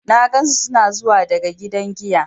Na gansu suna zuwa daga gidan giya.